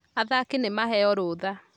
Athaki nĩ maheo rũtha